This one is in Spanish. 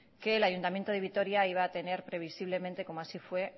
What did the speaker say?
que el ayuntamiento de vitoria iba a tener previsiblemente como así fue